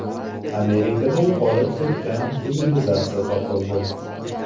Amerikada yo‘qolib ketgan sivilizatsiya topildi.